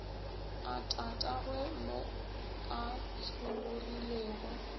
a tatagwe mo a tšhologilego